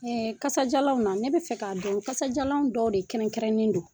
kasajalanw na ne bɛ fɛ k'a dɔn kasajalanw dɔw de kɛrɛnkɛrɛnnen do.